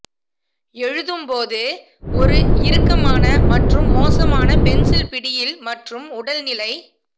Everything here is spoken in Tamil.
எழுதும் போது ஒரு இறுக்கமான மற்றும் மோசமான பென்சில் பிடியில் மற்றும் உடல் நிலை